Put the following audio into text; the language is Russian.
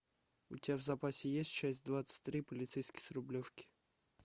у тебя в запасе есть часть двадцать три полицейский с рублевки